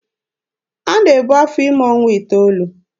A na-ebu afọ ime ọnwa iteolu.